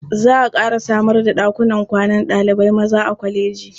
Za a ƙara samar da ɗakunan kwanan ɗalibai maza a kwalejin.